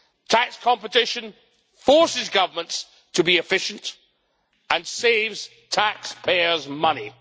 Tax competition forces governments to be efficient, and saves taxpayers' money.